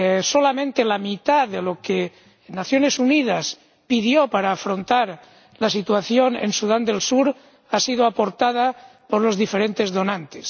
Solamente la mitad de lo que Naciones Unidas pidió para afrontar la situación en Sudán del Sur ha sido aportada por los diferentes donantes.